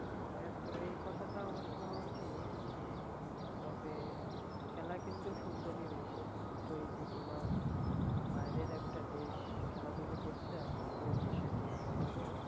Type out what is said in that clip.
হ্যাঁ তো এই কথাটা অবশ্য ঠিক তবে খেলা কিন্তু সুন্দরই হয়েছে কিন্তু এই যে তোমার বাইরের একটা দেশ খেলাধুলা করছে আর আমাদের দেশের যুব সমাজ